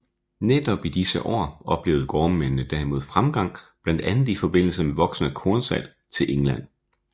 Netop i disse år oplevede gårdmændene derimod fremgang blandt andet i forbindelse med voksende kornsalg til England